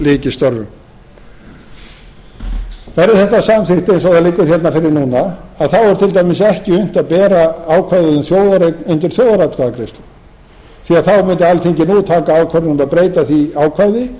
lyki störfum verði þetta samþykki eins og þetta liggur hérna fyrir núna er til dæmis ekki unnt að bera ákvæðið um þjóðareign undir þjóðaratkvæðagreiðslu því að þá mundi alþingi nú taka ákvörðun um að breyta því ákvæði